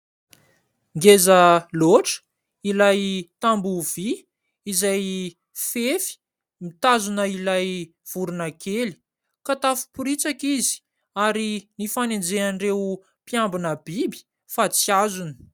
Ngeza loatra ilay tamboho vỳ izay fefy mitazona ilay vorona kely ka tafopiritsaka izy, ary nifanenjehan'ireo mpiambina biby, fa tsy azony.